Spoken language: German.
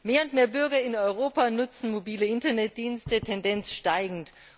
Mehr und mehr Bürger in Europa nutzen mobile Internetdienste, Tendenz steigend.